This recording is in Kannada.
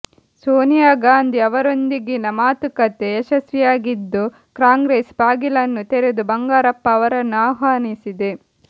ಸೋನಿಯಾಗಾಂಧಿ ಅವರೊಂದಿಗಿನ ಮಾತುಕತೆ ಯಶಸ್ವಿಯಾಗಿದ್ದು ಕಾಂಗ್ರೆಸ್ ಬಾಗಿಲನ್ನು ತೆರೆದು ಬಂಗಾರಪ್ಪ ಅವರನ್ನು ಆಹ್ವಾನಿಸಿದೆ